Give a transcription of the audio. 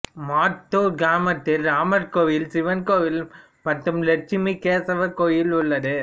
மாத்தூர் கிராமத்தில் இராமர் கோயில் சிவன் கோயில் மற்றும் லெட்சுமி கேசவர் கோயில் உள்ளது